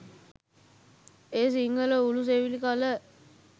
එය සිංහල උළු සෙවිලි කළ